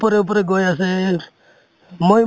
ওপৰে ওপৰে গৈ আছে, মই